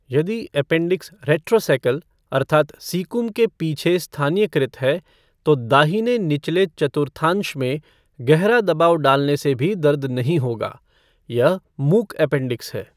यदि appendix retrocaecal अर्थात् caecum के पीछे स्थानीयकृत है, तो दाहिने निचले चतुर्थांश में गहरा दबाव डालने से भी दर्द नहीं होगा, यह मूक अपेंडिक्स है।